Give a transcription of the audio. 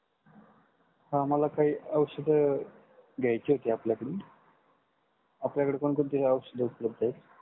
हा मला काही औषध घ्यायची होती आपल्या कडून. आपल्या कडे कोण कोणते औषध उपलब्ध आहे?